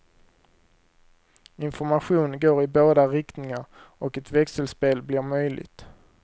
Information går i båda riktningar och ett växelspel blir möjligt.